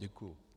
Děkuji.